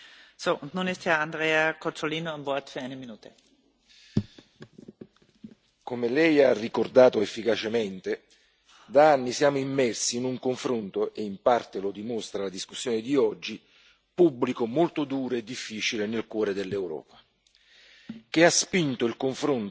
Signora Presidente, onorevoli colleghi, come Lei ha ricordato efficacemente, da anni siamo immersi in un confronto e in parte lo dimostra la discussione di oggi pubblico molto duro e difficile nel cuore dell'Europa, che ha spinto il confronto sul fenomeno della migrazione